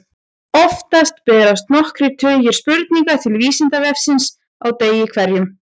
Oftast berast nokkrir tugir spurninga til Vísindavefsins á degi hverjum.